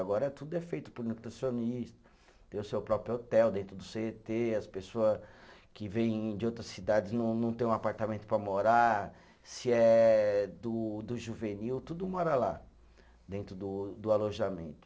Agora tudo é feito por nutricionista, tem o seu próprio hotel dentro do cê tê, as pessoas que vêm de outras cidades não não têm um apartamento para morar, se é do do juvenil, tudo mora lá, dentro do do alojamento.